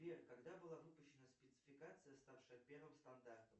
сбер когда была выпущена спецификация ставшая первым стандартом